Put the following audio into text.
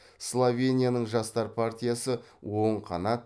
словенияның жастар партиясы оң қанат